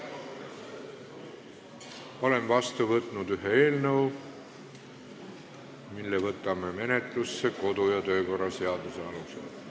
Olen vastu võtnud ühe eelnõu, mille võtame menetlusse kodu- ja töökorra seaduse alusel.